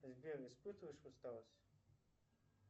сбер испытываешь усталость